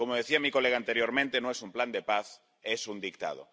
Como decía mi colega anteriormente, no es un plan de paz, es un dictado.